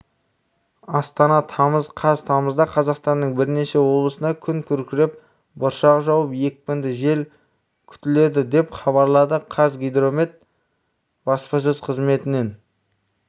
астана тамыз қаз тамызда қазақстанның бірнеше облысында күн күркіреп бұршақ жауып екпінді жел күтіледі деп хабарлады қазгидромет баспасөз қзыметінен